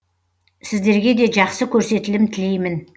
сіздерге де жақсы көрсетілім тілеймін